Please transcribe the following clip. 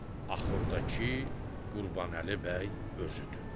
axurdakı Qurbanəli bəy özüdür.